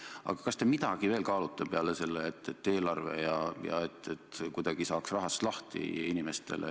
Aga kas te midagi veel kaalute, kuidas saaks inimestele ja ettevõtetele abiks olla?